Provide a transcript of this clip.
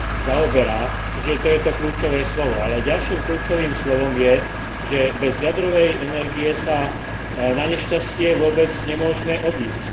zaoberá, že to je to kľúčové slovo, ale ďalším kľúčovým slovom je, že bez jadrovej energie sa na nešťastie vôbec nemôžme obísť.